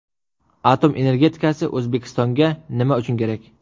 Atom energetikasi O‘zbekistonga nima uchun kerak?.